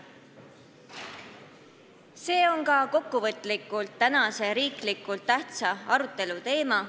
See on kokkuvõtlikult öeldes tänase riiklikult tähtsa arutelu teema.